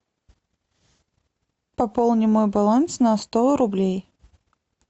пополни мой баланс на сто рублей